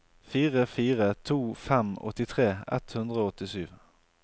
fire fire to fem åttitre ett hundre og åttisju